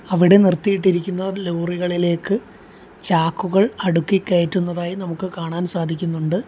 അവിടെ നിർത്തിയിട്ടിരിക്കുന്ന ലോറികളിലേക്ക് ചാക്കുകൾ അടുക്കി കയറ്റുന്നതായും നമുക്ക് കാണാൻ സാധിക്കുന്നുണ്ട്.